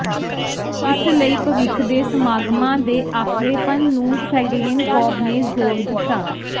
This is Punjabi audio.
ਇਸ ਲਈ ਭਵਿੱਖ ਦੇ ਸਮਾਗਮਾਂ ਦੇ ਆਪਰੇਪਨ ਨੂੰ ਫੈਡੇਨਕੋਵ ਨੇ ਜ਼ੋਰ ਦਿੱਤਾ